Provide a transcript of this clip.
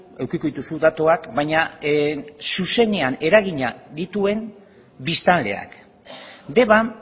edukiko dituzu datuak baina zuzenean eragina dituen biztanleak deban